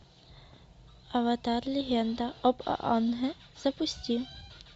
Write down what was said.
аватар легенда об аанге запусти